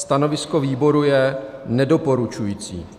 Stanovisko výboru je nedoporučující.